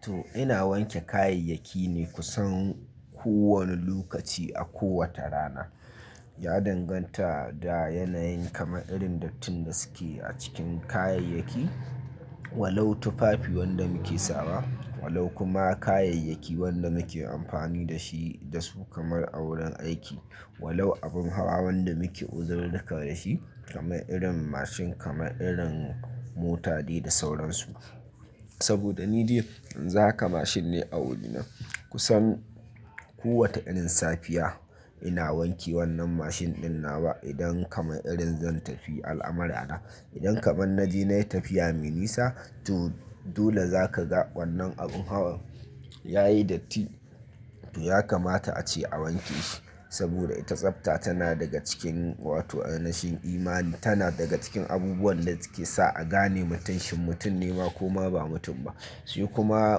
To ina wanke kayayyaki ne kusan kowane lokaci a kowata rana. Ya danganta da yanayin kamar irin dattin da suke a cikin kayayyaki, walau tufafi wanda muke sawa, walau kuma kayayyaki wanda muke amfani da shi da su kamar a wurin aiki, walau abun hawa wanda muke uzurur-ruka da shi kamar irin mashin kamar irin mota dai da sauransu. Saboda ni dai yanzu haka mashin ne a wurina kusan kowata irin safiya ina wanke wannan mashin ɗin nawa idan kamar irin zan tafi al'amura na. Idan kamar na je nayi tafiya mai nisa to dole za ka ga wannan abun hawa ya yi datti to ya kamata ace a wanke shi saboda ita tsafta tana daga cikin wato a ainashin imani tana daga cikin abubuwan da suke sa a gane mutun shin mutum ne ma ko ma ba mutum ba. Shi kuma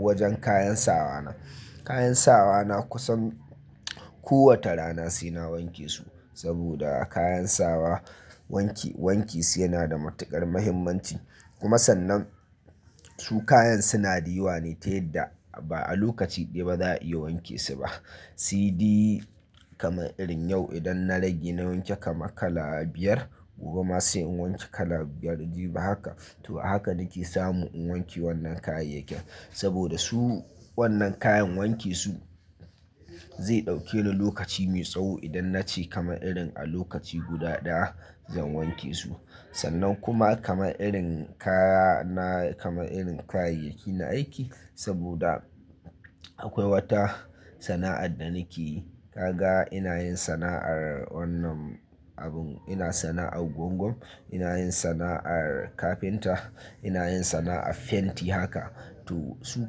wajen kayan sawa na, kayan sawa na kusan kowace rana sai na wanke su saboda kayan sawa wanki, wanke su yana da matuƙar muhimmanci. Kuma sannan su kayan sunada yawa ne ta yadda ba a lokaci ɗaya ba za a iya wanke su ba. Sede kamar irin yau idan na rage na wanke kamar kala biyar gobe ma sai in wanke kala biyar jibi haka to a haka nake samu in wanke wannan kayayyakin saboda su wannan kayan wanke su zai ɗauke ni lokaci mai tsawo idan na ce kamar irin a lokaci guda ɗaya zan wanke su. Sannan kuma kamar irin kaya na kamar irin kayayyaki na aiki saboda akwai wata sana'ar da nakeyi kaga ina yin sana'ar wannan abun, ina sana'ar gwangwam, ina yin sana'ar kafinta, ina yin sana'ar fenti haka to su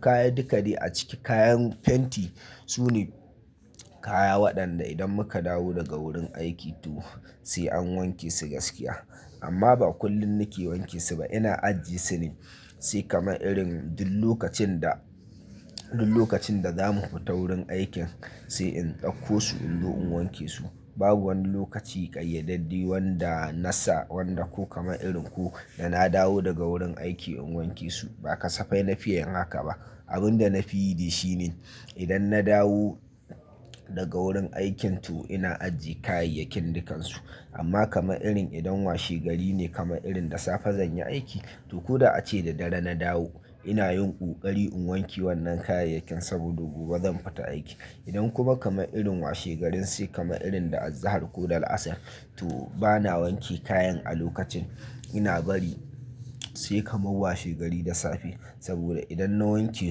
kaya duka dai a ciki kayan fenti su ne kaya waɗanda idan muka dawo daga wurin aiki to sai an wanke su gaskiya. Amma ba kullum nake wanke su ba ina ajiye su ne sai kamar irin duk lokacin da, duk lokacin da za mu fita wurin aikin sai in ɗauko su in zo in wanke su. Babu wani lokaci ƙayyadadde wanda na sa wanda ko kamar irin ko da na dawo daga wurin aiki in wanke su ba ka safai na fiya yin haka ba. Abin da na fi yi shi ne idan na dawo daga wurin aikin to ina ajiye kayayyakin dukansu. Amma kamar irin idan washegari ne kamar irin da safe zan yi aiki to ko da ace da dare na dawo ina yin ƙoƙari in wanke wannan kayayyakin saboda gobe zan fita aiki. Idan kuma kamar irin washegarin sai kamar irin da azahar ko da la'asar to ba na wanke kayan a lokacin ina bari sai kamar washegari da safe saboda idan na wanke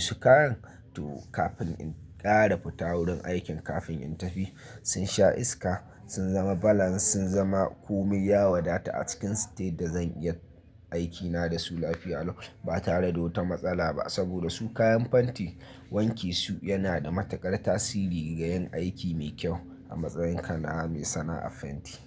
su kayan to kafin in ƙara fita wurin aikin kafin in tafi sun sha iska, sun zama balance, sun zama komai ya wadata a cikin su ta yadda zan iya aikina da su lafiya lokacin ba tare da wata matsala ba saboda su kayan fenti wanke su yana da matuƙar tasiri ga yin aiki mai kyau a matsayin kana mai sana'ar fenti.